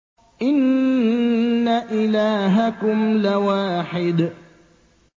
إِنَّ إِلَٰهَكُمْ لَوَاحِدٌ